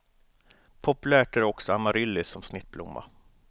Populärt är också amaryllis som snittblomma.